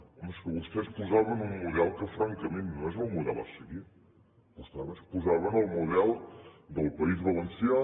home és que vostès posaven un model que francament no és el model a seguir vostès posaven el model del país valencià